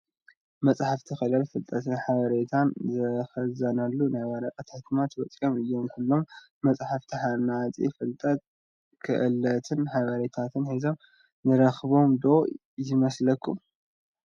መፃሕፍቲ ክእለት፣ ፍልጠትን ሓበሬታን ዝኽዘነሎም ናይ ወረቐት ሕትመት ውፅኢት እዮም፡፡ ኩሎም መፃሕፍቲ ሃናፂ ፍልጠት፣ ክእለትን ሓበሬታን ሒዞም ንረኽቦም ዶ ይመስለኩም?